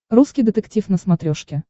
русский детектив на смотрешке